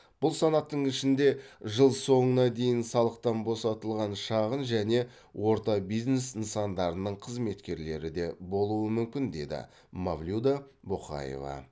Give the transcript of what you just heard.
бұл санаттың ішінде жыл соңына дейін салықтан босатылған шағын және орта бизнес нысандарының қызметкерлері де болуы мүмкін дейді мавлюда боқаева